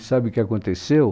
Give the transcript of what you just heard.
E sabe o que aconteceu?